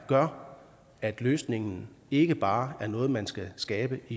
gør at løsningen ikke bare er noget man skal skabe